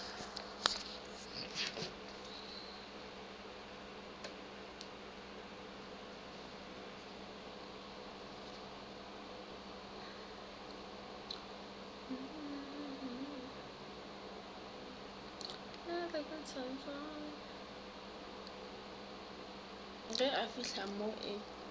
ga e fihle mo e